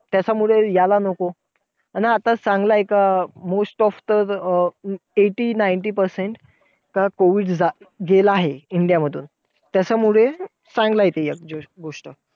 त्याच्यामुळे यायला नको आणि आता चांगलंय का most of तर eighty ninty percent का COVID गेला आहे. इंडिया मधून त्याच्यामुळे एक चांगलीये एक गोष्ट.